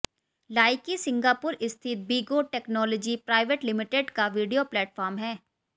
Likee Singapore स्थित Bigo technology private limited का video platform है